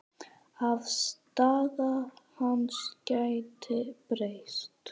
Afstaða hans gæti breyst.